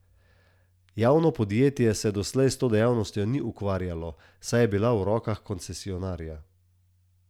Javno podjetje se doslej s to dejavnostjo ni ukvarjalo, saj je bila v rokah koncesionarja.